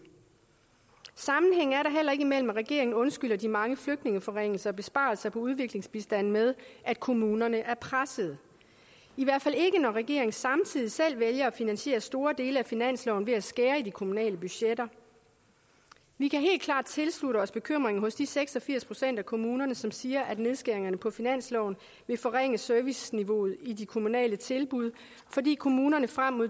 sammenhæng er der heller ikke mellem at regeringen undskylder de mange flygtningeforringelser og besparelser på udviklingsbistanden med at kommunerne er presset i hvert fald ikke når regeringen samtidig selv vælger at finansiere store dele af finansloven ved at skære i de kommunale budgetter vi kan helt klart tilslutte os bekymringen hos de seks og firs procent af kommunerne som siger at nedskæringerne på finansloven vil forringe serviceniveauet i de kommunale tilbud fordi kommunerne frem mod